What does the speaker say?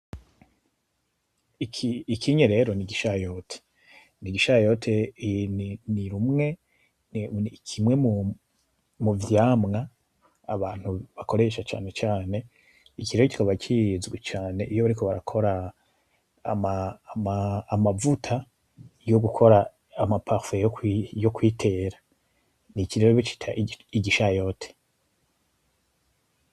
Ikinye rero n'Igishayote. N'Igishayote nikimwe muvyamwa Abantu bakoresha cane cane. Iki rero kikaba kizwi cane iyo bariko barakora amavuta yo gukora amaparufe yo kwitera iki rero bacita Igishayote.